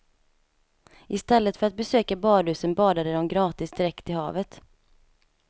I stället för att besöka badhusen, badade de gratis direkt i havet.